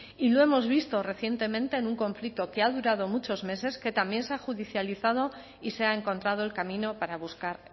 y lo hemos visto recientemente en un conflicto que ha durado muchos meses que también se ha judicializado y se ha encontrado el camino para buscar